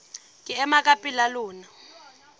ke ema ka pela lona